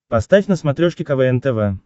поставь на смотрешке квн тв